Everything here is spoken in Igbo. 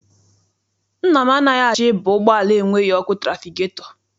Nna m anaghị achọ ịba ụgbọala enweghị ọkụ trafigetọ.